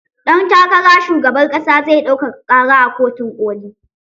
Ɗan takara shugaban ƙasa zai ɗaukaka ƙara a kotun koli.